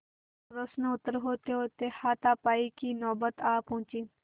प्रश्नोत्तर होतेहोते हाथापाई की नौबत आ पहुँची